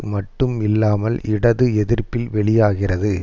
மட்டும் இல்லாமல் இடது எதிர்ப்பில் வெளியாகிறது